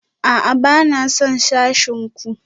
A'a, ba na son sashen ku